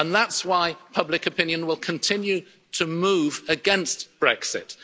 Britain. And that's why public opinion will continue to move against